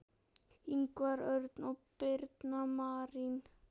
Ingvar Örn og Birna Marín.